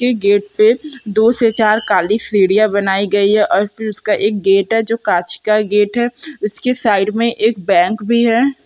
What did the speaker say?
ये गेट पे दो से चार काली सीढ़ियाँ बनाई गई है और फिर उसका एक गेट है जो काँच का गेट है इसके साइड में एक बैंक भी हैं।